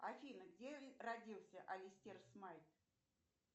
афина где родился алистер смайт